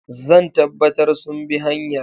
Zan tabbatar sun bi hanyar.